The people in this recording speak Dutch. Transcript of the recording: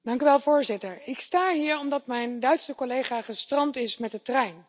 Voorzitter, ik sta hier omdat mijn Duitse collega gestrand is met de trein.